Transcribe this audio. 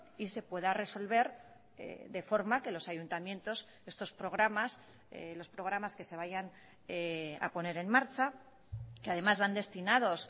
y se pueda resolver de forma que los ayuntamientos estos programas los programas que se vayan a poner en marcha que además van destinados